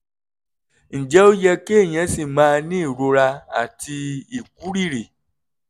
ǹjẹ́ ó yẹ kéèyàn ṣì máa ní ìrora àti ìkúrìrì?